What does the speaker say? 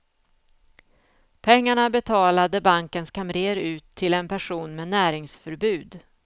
Pengarna betalade bankens kamrer ut till en person med näringsförbud.